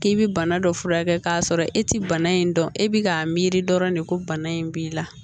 K'i bɛ bana dɔ furakɛ k'a sɔrɔ e tɛ bana in dɔn e bɛ k'a miiri dɔrɔn de ko bana in b'i la